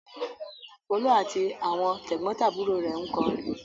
Folú àti àwọn tẹ̀gbọ́ntàbúrò rẹ̀ ń kọrin.